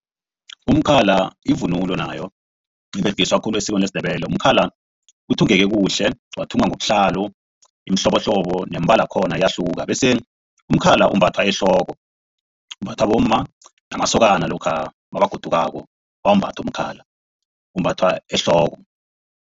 Umkhala yivunulo nayo iberegiswa khulu esikweni lesiNdebele umkhala uthungeke kuhle wathungwa ngobuhlalu imihlobohlobo neembala yakhona iyahluka bese umkhala umbathwa ehloko umbathwa bomma namasokana lokha nabagodukako bawumbatha umkhala umbathwa ehloko.